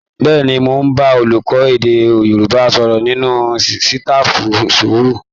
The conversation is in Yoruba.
Bẹ́ẹ̀ni, mò ń bá olùkọ́ èdè Yorùbá sọ̀rọ̀ nínú sitafu rúùmù